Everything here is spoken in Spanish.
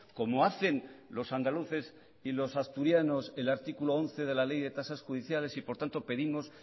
como hacen los andaluces y los asturianos el artículo once de la ley de tasa judiciales y por tanto pedimos